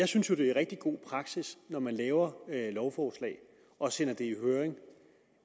synes jo det er rigtig god praksis når man laver lovforslag og sender det i høring